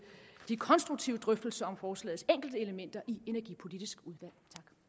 de konstruktive drøftelser om forslagets enkeltelementer i energipolitiske udvalg